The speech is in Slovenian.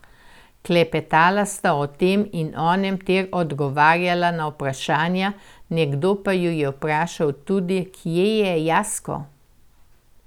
Klepetala sta o tem in onem ter odgovarjala na vprašanja, nekdo pa ju je vprašal tudi, kje je Jasko.